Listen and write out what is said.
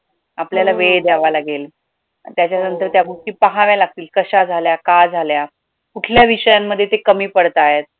आपल्याला वेळ दयायला लागेल त्याच्यानंतर त्या गोष्टी पाहायला लागतील, कशा झाल्या, का झाल्या, कुठल्या विषयांमध्ये ते कमी पडताहेत